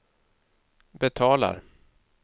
betalar